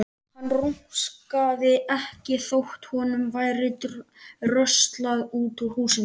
Hann rumskaði ekki þótt honum væri dröslað út úr húsinu.